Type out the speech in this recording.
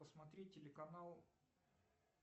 посмотреть телеканал